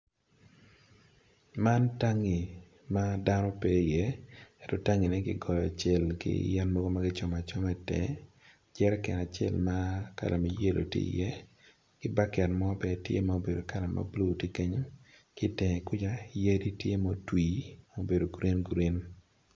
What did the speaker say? Man tangi ma dano pe iye ki gang ma kigoyo cel tye ki i tenge jerekan ma yelo ki baket mabulu tye ki i ngete kenyu ki i tenge kuca yadi tye ma otwi ma obedo green green